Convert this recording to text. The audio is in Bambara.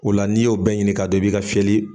O la n'i y'o bɛɛ ɲini k'a dɔn i bi ka fiyɛli.